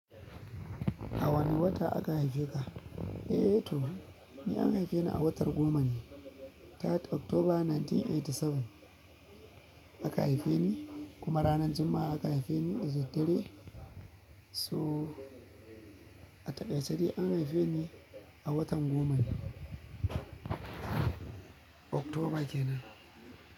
A wane wata aka haife ka? Eh to, ni an haife ni a watan goma ne, tara oktoba dubu ɗaya da ɗari tara da tamanin da bakwai aka haife ni kuma ranar Juma'a aka haife ni da daddare so. A taƙaice dai an haife ni a watan goma ne oktoba kenan.